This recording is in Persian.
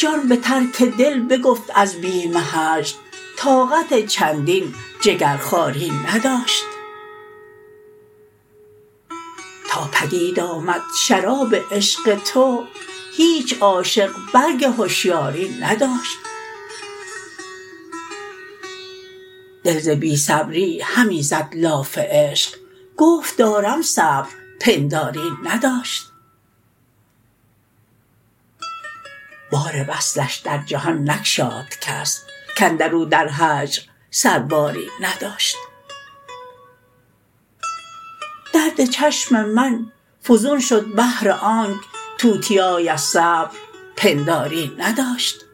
جان به ترک دل بگفت از بیم هجر طاقت چندین جگرخواری نداشت تا پدید آمد شراب عشق تو هیچ عاشق برگ هشیاری نداشت دل ز بی صبری همی زد لاف عشق گفت دارم صبر پنداری نداشت بار وصلش در جهان نگشاد کس کاندرو در هجر سرباری نداشت درد چشم من فزون شد بهر آنک توتیای از صبر پنداری نداشت